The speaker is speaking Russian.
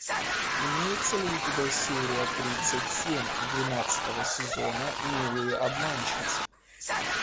имеется ли у тебя серия тридцать семь двенадцатого сезона милые обманщицы